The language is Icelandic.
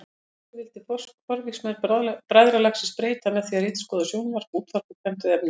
Þessu vildi forvígismenn bræðralagsins breyta með því að ritskoða sjónvarp, útvarp og prentuð efni.